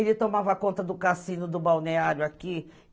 Ele tomava conta do cassino do balneário aqui.